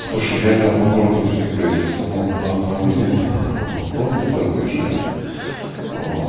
слушай я по городу передвигаясь в основном на автомобиле вот ну иногда выезжаю вот